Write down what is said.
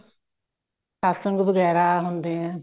ਸਤਸੰਗ ਵਗੈਰਾ ਹੁੰਦੇ ਐ